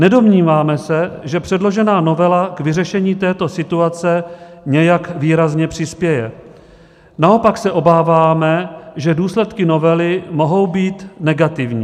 Nedomníváme se, že předložená novela k vyřešení této situace nějak výrazně přispěje, naopak se obáváme, že důsledky novely mohou být negativní.